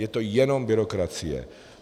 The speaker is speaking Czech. Je to jenom byrokracie.